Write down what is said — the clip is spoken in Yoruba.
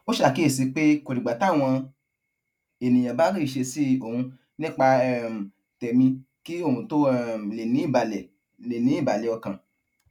ó ṣàkíyèsi pé kò dìgbà táwọn ènìyàn bá rí ìṣesí òun nípa um tẹmí kí òun tó um lè ní ìbàlẹ lè ní ìbàlẹ ọkàn